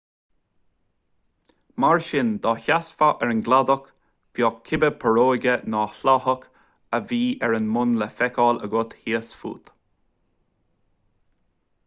mar sin dá seasfá ar an gcladach bheadh cibé púróga nó sláthach a bhí ar an mbun le feiceáil agat thíos fút